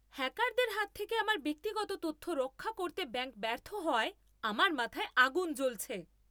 হ্যাকারদের হাত থেকে আমার ব্যক্তিগত তথ্য রক্ষা করতে ব্যাঙ্ক ব্যর্থ হওয়ায় আমার মাথায় আগুন জ্বলছে।